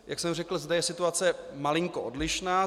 Jak jsem řekl, zde je situace malinko odlišná.